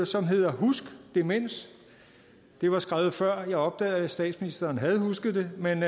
som hedder husk demens det var skrevet før jeg opdagede at statsministeren havde husket det men